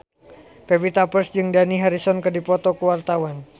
Pevita Pearce jeung Dani Harrison keur dipoto ku wartawan